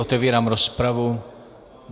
Otevírám rozpravu.